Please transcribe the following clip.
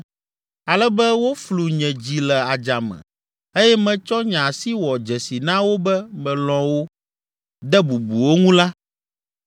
ale be woflu nye dzi le adzame eye metsɔ nye asi wɔ dzesi na wo be melɔ̃ wo, de bubu wo ŋu la,